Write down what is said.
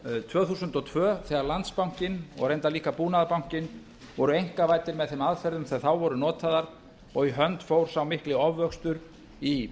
tvö þúsund og tvö þegar landsbankinn og reyndar líka búnaðarbankinn voru einkavæddir með þeim aðferðum sem þá voru notaðar og í hönd fór sá mikli ofvöxtur í